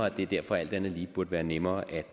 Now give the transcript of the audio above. at det derfor alt andet lige burde være nemmere at